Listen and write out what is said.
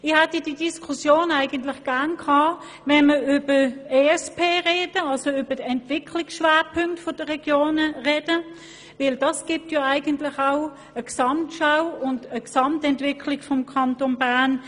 Ich hätte diese Diskussion gerne in der Debatte über die Entwicklungsschwerpunkte (ESP) der Regionen geführt, denn diese ergab ja auch eine Gesamtschau auf die Entwicklung des Kantons Bern: